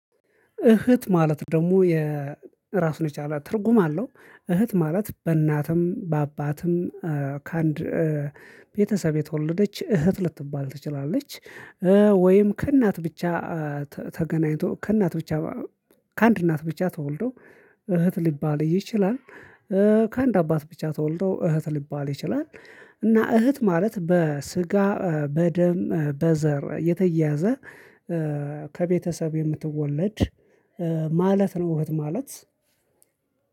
እህት ማለት ደግሞ የራሱን የቻለ ትርጉም አለው። እህት ማለት በእናትም በአባትም ከአንድ ቤተሰብ የተወለደች እህት ልትባል ትችላለች። ወይም ከእናት ብቻ ተገናኝቶ ከእናት ብቻ ከአንድ እናት ብቻ ተወልዶ እህት ሊባል ይችላል። ከአንድ አባት ብቻ ተወልዶ እህት ሊባል ይችላል። እና እህት ማለት በስጋ በደም በዘር የተያያዘ ከቤተሰብ የምትወለድ ማለት ነው። ማለት